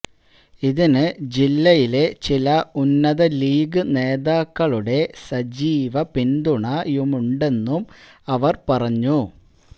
ഇതിന് ജില്ലയിലെ ചില ഉന്നത ലീഗ് നേതാക്കളുടെ സജീവ പിന്തുണയുമുണ്ടെന്നും അവര് പറഞ്ഞു